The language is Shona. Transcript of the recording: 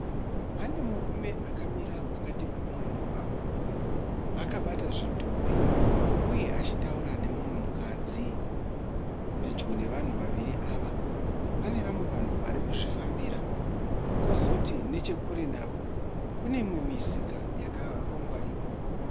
Pane murume akamira pakati pomumugwaga akabata zvidhori uye achitaura nemumwe mukadzi. Pedyo nevanhu vaviri ava pane vamwe vanhu varikuzvifambira kozoti nechekure navo kune mimwe misika yakarongwa ikoko.